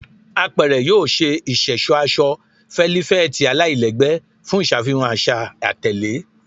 Apẹrẹ yoo ṣe iṣẹṣọ aṣọ felifeti alailẹgbẹ fun iṣafihan aṣa atẹle